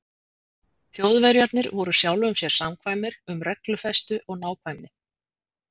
Þjóðverjarnir voru sjálfum sér samkvæmir um reglufestu og nákvæmni.